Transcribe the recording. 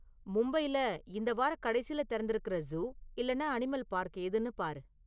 மும்பைல இந்த வாரக் கடைசில திறந்திருக்குற ஜூ இல்லன்னா அனிமல் பார்க் எதுன்னு பாரு